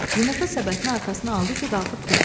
Yumurta səbətini arxasına aldı ki, qalxıb getsin.